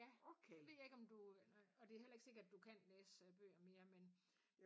Ja det ved jeg ikke om du og det heller ikke sikkert du kan læse bøger mere men